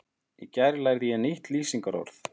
Í gær lærði ég nýtt lýsingarorð.